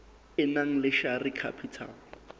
e nang le share capital